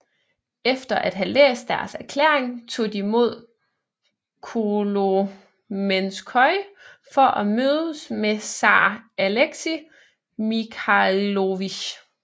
Efter at have læst deres erklæring tog de mod Kolomenskoye for at mødes med zar Alexei Mikhailovich